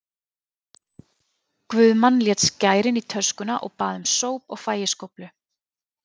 Guðmann lét skærin í töskuna og bað um sóp og fægiskóflu.